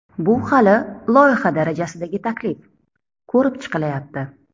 Bu hali loyiha darajasidagi taklif, ko‘rib chiqilyapti.